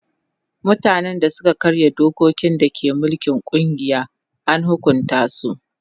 Mutanen da suka karya dokokin da ke mulkin kungiya an hukunta su.